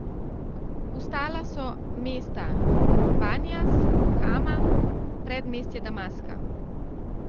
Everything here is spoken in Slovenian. Vstala so mesta Banijas, Hama, predmestje Damaska.